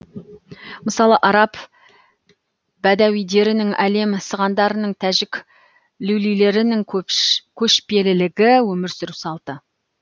мысалы араб бәдәуидерінің әлем сығандарының тәжік люлилерінің көшпелілігі өмір сүру салты